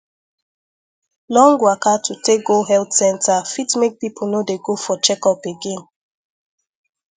long waka to take go health center fit make people no dey go for checkup again